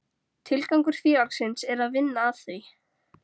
Tilgangur félagsins er að vinna að því: